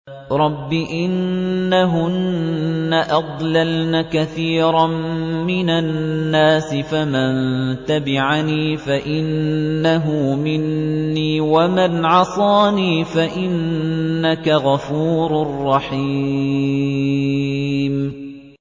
رَبِّ إِنَّهُنَّ أَضْلَلْنَ كَثِيرًا مِّنَ النَّاسِ ۖ فَمَن تَبِعَنِي فَإِنَّهُ مِنِّي ۖ وَمَنْ عَصَانِي فَإِنَّكَ غَفُورٌ رَّحِيمٌ